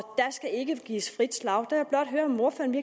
der skal ikke gives frit slag der jeg blot høre om ordføreren